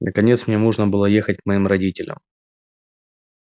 наконец мне можно было ехать к моим родителям